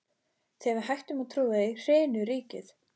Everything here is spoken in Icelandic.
Þegar við hættum að trúa því, hrynur ríkið!